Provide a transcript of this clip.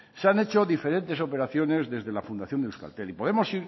se han hecho diferentes operaciones desde la fundación de euskaltel y podemos